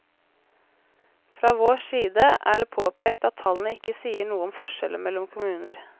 Fra vår side er det påpekt at tallene ikke sier noe om forskjeller mellom kommuner.